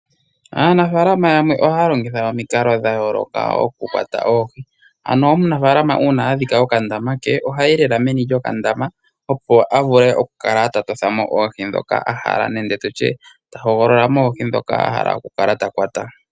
Aanafaalama yamwe ohaya longitha omikalo dhayooloka okukwata oohi. Uuna omunafaalama adhika okandama ke ohayi lela meni lyokandama opo avule okukala tatothamo oohi ndhoka ahala nenge ta hogolola oohi ndhoka ahala okukwata.